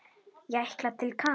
Ég ætla til Kanarí.